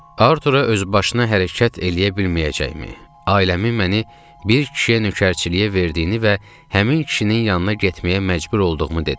Artura özbaşına hərəkət eləyə bilməyəcəyimi, ailəmi məni bir kişiyə nökərçiliyə verdiyini və həmin kişinin yanına getməyə məcbur olduğumu dedim.